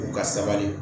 U ka sabali